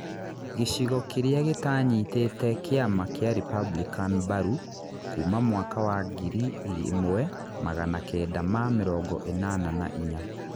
Gĩchigo kĩrĩa gĩtaanyitĩte kĩama kĩa Republican mbaru kuuma mwaka wa ngĩrĩ ĩmwe magana kenda ma mĩrongo ĩnana na inya